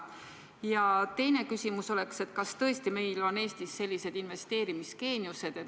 Ja teine küsimus on: kas tõesti on meie Eesti inimesed sellised investeerimisgeeniused?